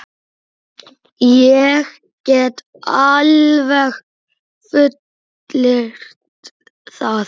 Ég get alveg fullyrt það.